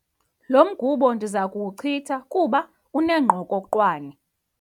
Lo mgubo ndiza kuwuchitha kuba unengqokoqwane.